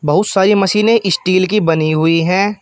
बहुत सारी मशीने स्टील की बनी हुई हैं।